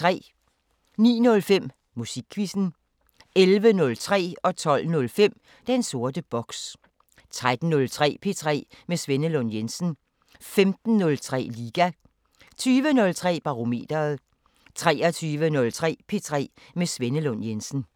09:05: Musikquizzen 11:03: Den sorte boks 12:05: Den sorte boks 13:03: P3 med Svenne Lund Jensen 15:03: Liga 20:03: Barometeret 23:03: P3 med Svenne Lund Jensen